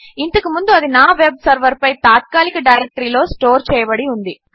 కాని ఇంతకు ముందు అది నా వెబ్ సర్వర్పై తాత్కాలిక డైరెక్టరీలో స్టోర్ చేయబడింది